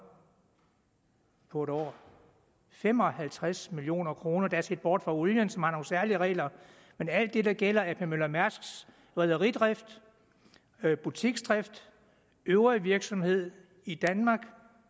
på et år fem og halvtreds million kroner der er set bort fra olien som har nogle særlige regler men alt det der gælder ap møller mærsks rederidrift butiksdrift og øvrige virksomhed i danmark